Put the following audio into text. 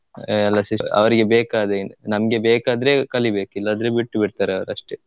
ಆ ಎಲ್ಲ ಸಿಷ್ಟ ಅವ್ರಿಗೆ ಬೇಕಾದ್ರೆ ನಮ್ಗೆ ಬೇಕಂದ್ರೆ ಕಲಿಬೇಕು ಇಲ್ಲ ಅಂದ್ರೆ ಬಿಟ್ಬಿಡ್ತರೆ ಅವ್ರಷ್ಟೆ.